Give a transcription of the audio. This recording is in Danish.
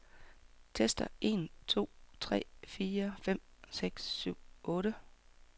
Tester en to tre fire fem seks syv otte.